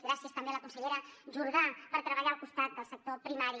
gràcies també a la consellera jordà per treballar al costat del sector primari